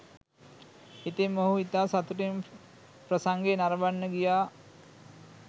ඉතින් මොහු ඉතා සතුටින් ප්‍රසංගය නරඹන්න ගියා.